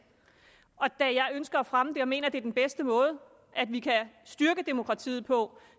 og da jeg ønsker at fremme det og mener at det er den bedste måde vi kan styrke demokratiet på